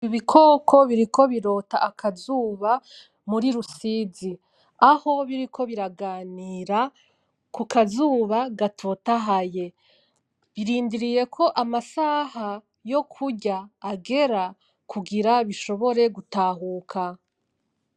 Ibikoko biriko birota akazuba muri Rusizi, aho biriko biraganira kukazuba gatotahaye, birindiriye ko amasaha yokurya agera kugira bishobore gutahuka.